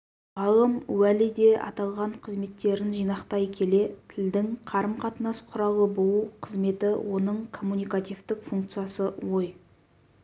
ғалым уәли де аталған қызметтерін жинақтай келе тілдің қарымқатынас құралы болу қызметі оның коммуникативтік функциясы ой